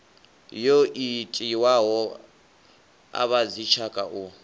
yo itiwaho a vhadzitshaka u